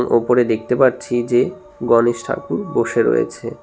ওপরে দেখতে পারছি যে গণেশ ঠাকুর বসে রয়েছে।